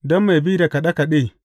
Don mai bi da kaɗe kaɗe.